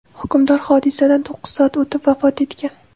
Hukmdor hodisadan to‘qqiz soat o‘tib, vafot etgan.